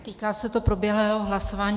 Týká se to proběhlého hlasování.